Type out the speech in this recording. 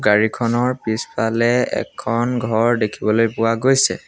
গাড়ীখনৰ পিছফালে এখন ঘৰ দেখিবলৈ পোৱা গৈছে।